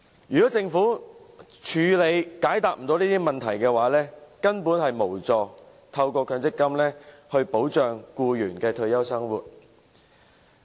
如果政府不能處理和解答這些問題，根本無助透過強積金來保障僱員的退休生活。